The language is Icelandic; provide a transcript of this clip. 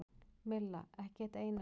Milla: Ekki eitt einasta.